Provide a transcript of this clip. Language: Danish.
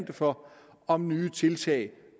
det for om nye tiltag